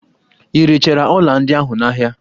I rechara ọla ndị ahụ n'ahia?